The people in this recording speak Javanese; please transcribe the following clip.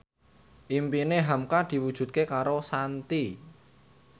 impine hamka diwujudke karo Shanti